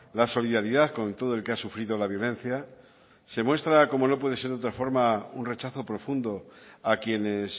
la solidaridad con todo el que ha sufrido la violencia se muestra como no puede ser de otra forma un rechazo profundo a quienes